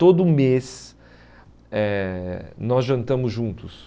Todo mês nós eh jantamos juntos.